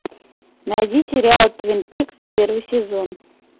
найди сериал твин пикс первый сезон